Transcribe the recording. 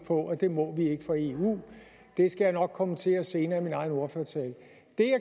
på at det må vi ikke for eu og det skal jeg nok kommentere senere i min egen ordførertale det